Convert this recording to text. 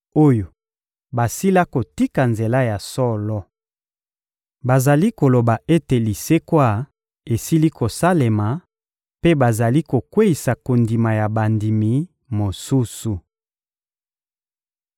oyo basila kotika nzela ya solo. Bazali koloba ete lisekwa esili kosalema mpe bazali kokweyisa kondima ya bandimi mosusu.